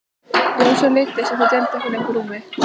Rósu leiddist að þau deildu ekki lengur rúmi.